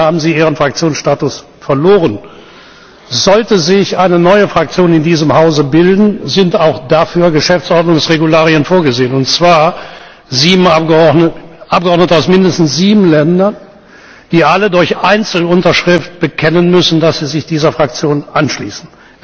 Damit haben Sie Ihren Fraktionsstatus verloren. Sollte sich eine neue Fraktion in diesem Hause bilden, sind auch dafür Geschäftsordnungsregularien vorgesehen, und zwar Abgeordnete aus mindestens sieben Ländern, die alle durch Einzelunterschrift bekennen müssen, dass sie sich dieser Fraktion anschließen.